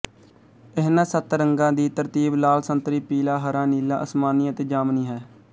ਇਹਨਾਂ ਸੱਤ ਰੰਗਾਂ ਦੀ ਤਰਤੀਬ ਲਾਲ ਸੰਤਰੀ ਪੀਲਾ ਹਰਾ ਨੀਲਾ ਅਸਮਾਨੀ ਅਤੇ ਜਾਮਣੀ ਹੈ